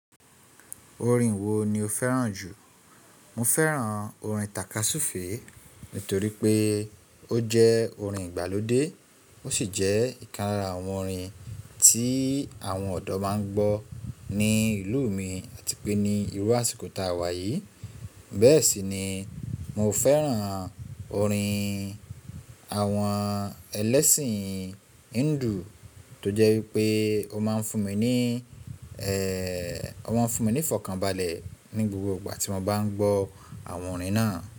Orin wo ni o fẹ́ràn jù? Mo fẹ́ràn orin tàkasúfèé nítorí pé ó jẹ́ orin ìgbàlódé, ó sì jẹ́ ìkan lára àwọn orin tí àwọn ọ̀dọ́ máa ń gbọ́ ní ìlú mi àti pé ní ìlú àsìkò tá a wà yìí. Bẹ́ẹ̀ sì ni mo fẹ́ràn orin àwọn ẹlẹ́sìn Hindu tó jẹ́ wípé ó máa ń fún mi ní, ó máa ń fún mi ní ìfọ̀kànbalẹ̀ ní gbogbo ìgbà tí mo bá ń gbọ́ àwọn orin náà.